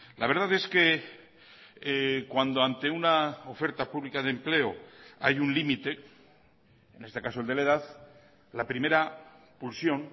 la verdad es que cuando ante una oferta pública de empleo hay un límite en este caso el de la edad la primera pulsión